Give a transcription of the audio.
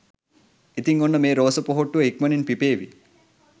ඉතිං ඔන්න මේ රෝස පොහොට්ටුව ඉක්මණින් පිපේවි